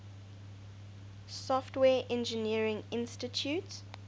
software engineering institute